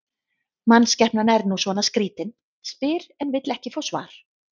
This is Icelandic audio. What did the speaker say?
Mannskepnan er nú svona skrýtin, spyr en vill ekki fá svar.